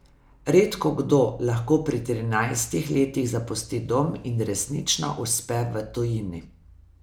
Redkokdo lahko pri trinajstih letih zapusti dom in resnično uspe v tujini.